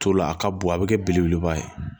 To la a ka bon a bɛ kɛ belebeleba ye